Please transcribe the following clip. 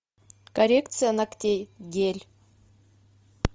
коррекция ногтей гель